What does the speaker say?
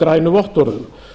grænu vottorðum